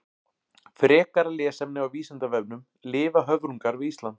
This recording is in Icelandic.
Frekara lesefni á Vísindavefnum: Lifa höfrungar við Ísland?